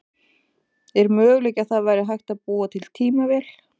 Er möguleiki að það væri hægt að búa til tímavél?